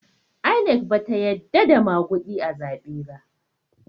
INEC bata yadda da maguɗi a zaɓe ba